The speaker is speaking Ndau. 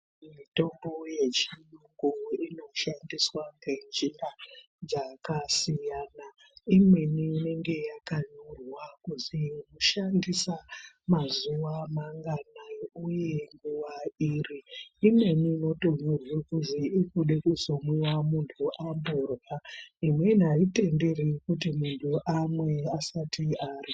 Mitombo yechiyungu inoshandiswa ngenjira dzakasiyana imweni inenge yakanyorwa kuzi shandisa mazuwa manganayi uye nguwa iri ,imweni inotonyorwe kuzi irikude kuzomwiwa munhu amborya ,imweni aitenderi kuti munhu amwe asati arya.